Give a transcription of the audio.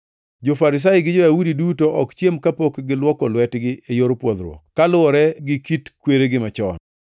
Jo-Farisai gi jo-Yahudi duto ok chiem kapok gilwoko lwetgi e yor pwodhruok, kaluwore gi kit kweregi machon.